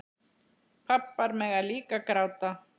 Pabbar mega líka gráta.